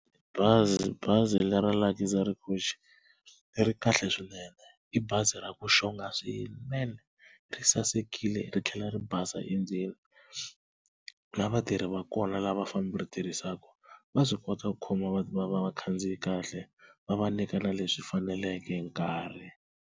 Bazi, bazi leri ra Luxury Coach ri kahle swinene i bazi ra ku xonga swinene ri sasekile ri tlhela ri basa endzeni, na vatirhi va kona lava ri tirhisaka va swi kota ku khoma vakhandziyi kahle va va nyika na leswi faneleke hi nkarhi.